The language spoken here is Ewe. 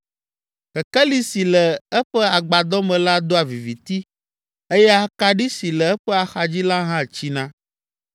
Kekeli si le eƒe agbadɔ me la doa viviti eye akaɖi si le eƒe axadzi la hã tsina.